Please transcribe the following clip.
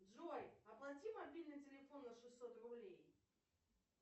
джой оплати мобильный телефон на шестьсот рублей